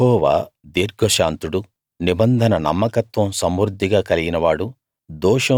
యెహోవా దీర్ఘశాంతుడు నిబంధన నమ్మకత్వం సమృద్ధిగా కలిగినవాడు